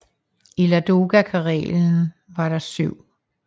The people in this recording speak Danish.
I Ladoga Karelen var der den 7